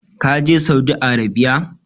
Ka je Saudi Arabiya?